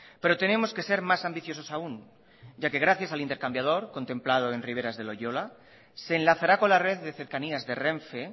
pero tenemos que ser más ambiciosos aún ya que gracias al intercambiador contemplado en riberas de loyola se enlazará con la red de cercanías de renfe